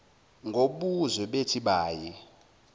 ngobuzwe bethi bayi